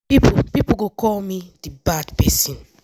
pipo pipo go call me di bad person.